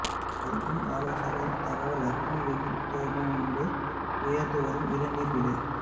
கல்வி ஆலோசகர் தகவல் அக்னி வெயில் துவங்கும் முன்பே உயர்ந்து வரும் இளநீர் விலை